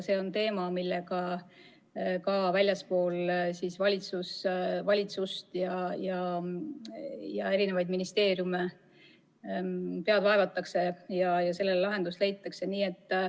See on teema, mille kallal ka väljaspool valitsust ja ministeeriume pead vaevatakse, ja sellele kindlasti lahendus leitakse.